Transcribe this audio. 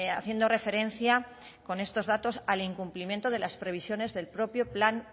haciendo referencia con estos datos al incumplimiento de las previsiones del propio